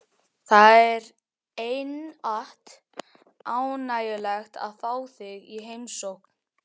Það er einatt ánægjulegt að fá þig í heimsókn.